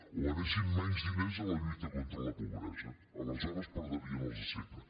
o anessin menys diners a la lluita contra la pobre·sa aleshores perdrien els de sempre